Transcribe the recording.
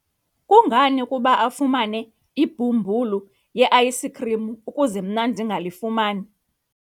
kungani ukuba afumane ibhumbulu le-ayisikhrim ukuze mna ndingalifumani?